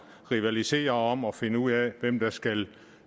rivaliserer om at finde ud af hvem der skal